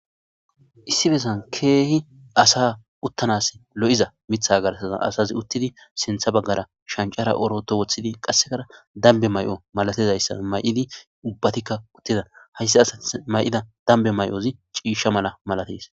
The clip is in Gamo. issi bessan keehi asa uttanas lo7iza mitha garsaza asazi uttidi sintha baggara shancara oroto woththidi qassekara dambe may7o malatizayssa may7idi ubbatikka uttida hayssi asati may7ida dambe may7ozi ciisha mala malates